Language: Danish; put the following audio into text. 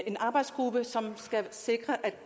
en arbejdsgruppe som skal sikre